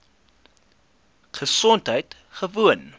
gesondheidgewoon